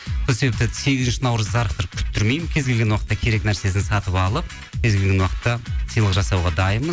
сол себептен сегізінші наурызды зарықтырып күттірмеймін кез келген уақытта керек нәрсесін сатып алып кез келген уақытта сыйлық жасауға дайынмын